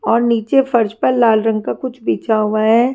और नीचे फर्श पर लाल रंग का कुछ बिछा हुआ है।